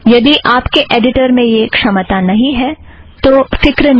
यदि आप के ऐड़िटर में यह क्षमता नहीँ है तो फ़िक्र न करें